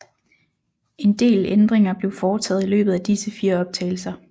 En del ændringer blev foretaget i løbet af disse fire optagelser